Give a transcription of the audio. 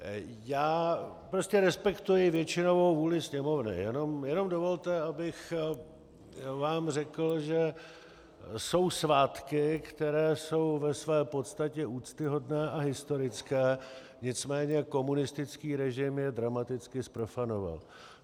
Já prostě respektuji většinovou vůli Sněmovny, jenom dovolte, abych vám řekl, že jsou svátky, které jsou ve své podstatě úctyhodné a historické, nicméně komunistický režim je dramaticky zprofanoval.